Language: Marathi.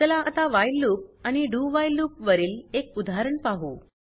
चला आता व्हाईल लूप आणि doव्हाईल लूप वरील एक उदाहरण पाहू